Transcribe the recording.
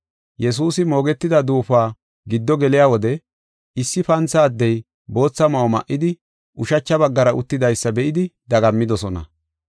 Yesuusi moogetida duufuwa giddo geliya wode issi pantha addey bootha ma7o ma7idi, ushacha baggara uttidaysa be7idi dagammidosona.